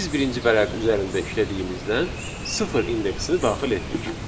Biz birinci vərəq üzərində işlədiyimizdən sıfır indeksini daxil etdik.